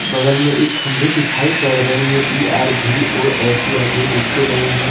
बगल में एक खंबे दिखाई पड़ रहे हैं इ_आर_भी_ओ_एस_इ_आर_भी लिखे गए हैं।